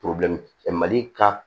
mali ka